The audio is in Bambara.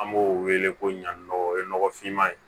An b'o wele ko ɲani nɔgɔ o ye nɔgɔfinma ye